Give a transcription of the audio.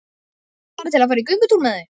Bara til að fara í göngutúr með þau.